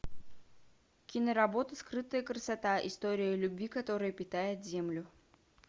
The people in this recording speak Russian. киноработа скрытая красота история любви которая питает землю